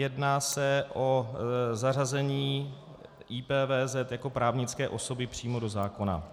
Jedná se o zařazení IPVZ jako právnické osoby přímo do zákona.